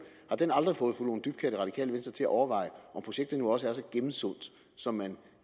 aldrig fået fru lone dybkjær og det radikale venstre til at overveje om projektet nu også er så gennemsundt som man